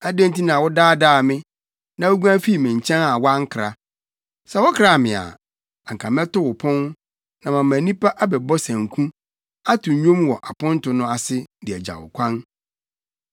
Adɛn nti na wodaadaa me, na wuguan fii me nkyɛn a woankra? Sɛ wokraa me a, anka mɛto wo pon, na mama nnipa abɛbɔ sanku, ato nnwom wɔ aponto no ase, de agya wo kwan.